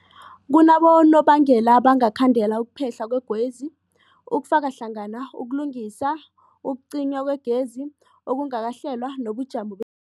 Kunabonobangela abangakhandela ukuphehlwa kwegezi, kufaka hlangana ukulungisa, ukucinywa kwegezi okungakahlelwa, nobujamo be